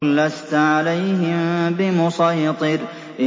لَّسْتَ عَلَيْهِم بِمُصَيْطِرٍ